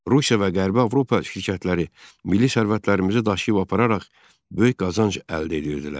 Rusiya və Qərbi Avropa şirkətləri milli sərvətlərimizi daşıyıb apararaq böyük qazanc əldə edirdilər.